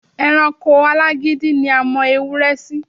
E̩ranko alágídí ni a mo̩ ewúré̩ sí.